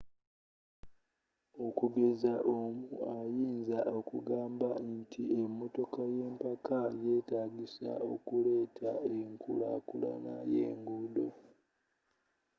okugeza omu ayinza okugamba nti emotoka yempaka yeetagisa okuleeta enkula kulana y'enguudo